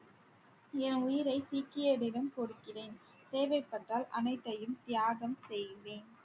என் உயிரை சிக்கியரிடம் கொடுக்கிறேன் தேவைப்பட்டால் அனைத்தையும் தியாகம் செய்வேன்.